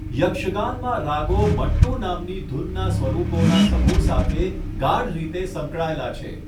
યક્ષગાનમાં રાગો મટ્ટુ નામની ધૂનનાં સ્વરૂપોના સમૂહ સાથે ગાઢ રીતે સંકળાયેલા છે.